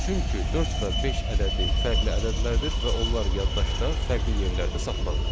Çünki dörd və beş ədədi fərqli ədədlərdir və onlar yaddaşda fərqli yerlərdə saxlanılır.